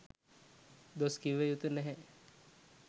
දොස් කිව යුතු නැහැ.